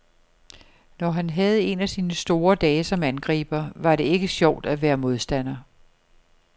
Når han havde en af sine store dage som angriber, var det ikke sjovt at være modstander.